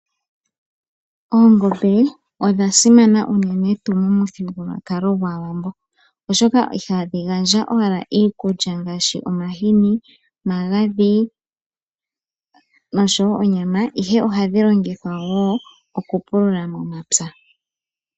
Oongombe odha simana unene tuu mo muthigululwakalo gwAawambo, oshoka iha dhi gandja owala iikulya ngaashi omahini, omagadhi noshowo onyama, ihe ohadhi longithwa woo oku pulula momapya.